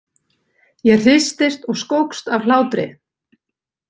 Ég hristist og skókst af hlátri.